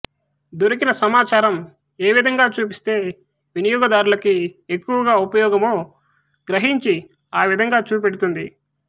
దొరికిన సమాచారం ఏ విధంగా చూపిస్తే వినియోగదారులకి ఎక్కువ ఉపయోగమో గ్రహించి ఆ విధంగా చూపెడుతుంది